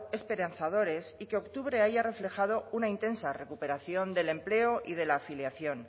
esperanzadores y que octubre haya reflejado una intensa recuperación del empleo y de la afiliación